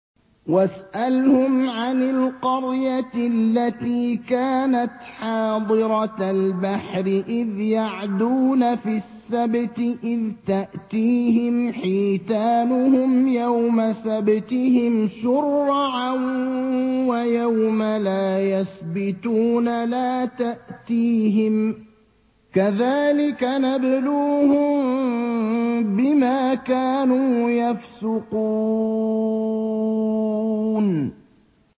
وَاسْأَلْهُمْ عَنِ الْقَرْيَةِ الَّتِي كَانَتْ حَاضِرَةَ الْبَحْرِ إِذْ يَعْدُونَ فِي السَّبْتِ إِذْ تَأْتِيهِمْ حِيتَانُهُمْ يَوْمَ سَبْتِهِمْ شُرَّعًا وَيَوْمَ لَا يَسْبِتُونَ ۙ لَا تَأْتِيهِمْ ۚ كَذَٰلِكَ نَبْلُوهُم بِمَا كَانُوا يَفْسُقُونَ